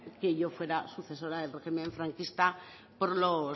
que yo fuera sucesora del régimen franquista porque mi